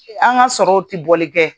An ka sɔrɔw tɛ boli kɛ